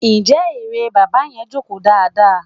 Njẹ́ eré bàbá yẹn jókòó dáadáa?